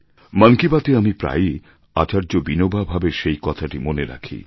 মন কি বাত এ আমি প্রায়ই আচার্য বিনোবা ভাবের সেই কথাটি মনে রাখি